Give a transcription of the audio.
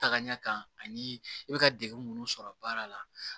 Taga ɲɛ kan ani i bɛ ka degun minnu sɔrɔ baara la